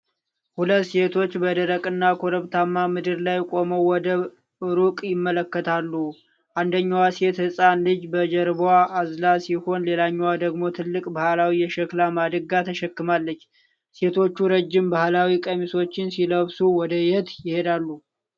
ሁለት ሴቶች በደረቅና ኮረብታማ ምድር ላይ ቆመው ወደ ሩቅ ይመለከታሉ። አንደኛዋ ሴት ህጻን ልጅ በጀርባዋ አዝላ ሲሆን፣ ሌላኛዋ ደግሞ ትልቅ ባህላዊ የሸክላ ማድጋ ተሸክማለች። ሴቶቹ ረጅም ባህላዊ ቀሚሶችን ሲለብሱ፣ ወደ የት ይሄዳሉ?